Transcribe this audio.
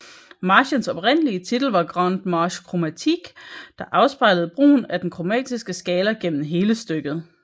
Marchens oprindelige titel var Grande Marche Chromatique der afspejlede brugen af den kromatiske skala gennem hele stykket